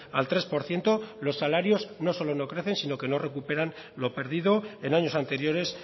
al tres por ciento los salarios no solo no crecen sino que no recuperan lo perdido en años anteriores